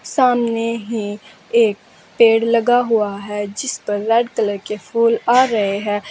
सामने ही एक पेड़ लगा हुआ है जिस पर रेड कलर के फूल आ रहे हैं।